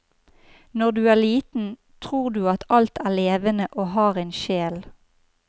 Når du er liten, tror du at alt er levende og har en sjel.